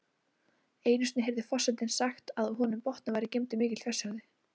Einu sinni heyrði forsetinn sagt að á botninum væri geymdur mikill fjársjóður.